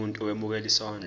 umuntu owemukela isondlo